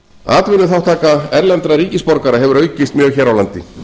atvinnuþátttaka erlendra ríkisborgara hefur aukist mjög hér á landi